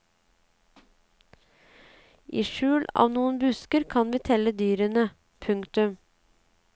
I skjul av noen busker kan vi telle dyrene. punktum